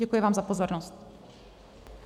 Děkuji vám za pozornost.